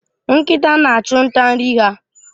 Nkịta na-achụ nta nri ha.